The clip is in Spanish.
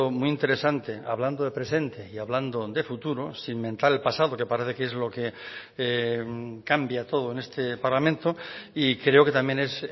muy interesante hablando de presente y hablando de futuro sin mentar el pasado que parece que es lo que cambia todo en este parlamento y creo que también es